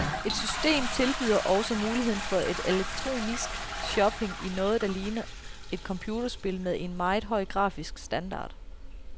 Et system tilbyder også muligheden for elektronisk shopping i noget, der ligner et computerspil med en meget høj grafisk standard.